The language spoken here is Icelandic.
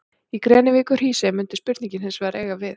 Í Grenivík og Hrísey mundi spurningin hins vegar eiga við.